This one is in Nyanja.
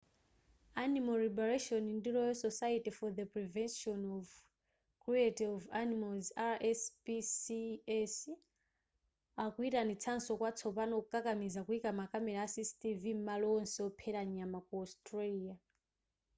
animal liberation ndi royal society for the prevention of cruelty to animals rspcs akuyitanitsanso kwatsopano kukakamiza kuyika makamera a cctv m'malo onse ophera nyama ku australia